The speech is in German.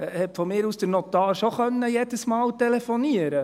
Da konnte meinetwegen der Notar schon jedes Mal telefonieren.